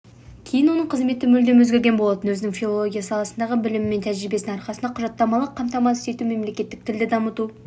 кейін оның қызметі мүлдем өзгерген болатын өзінің филология саласындағы білімі мен тәжірибесінің арқасында ол құжаттамалық қамтамасыз ету және мемлекеттік тілді дамыту